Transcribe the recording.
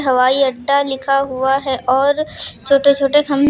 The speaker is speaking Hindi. हवाई अड्डा लिखा हुआ है और छोटे छोटे--